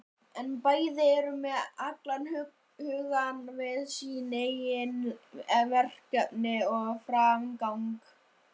En bæði eru með allan hugann við sín eigin verkefni og framgang.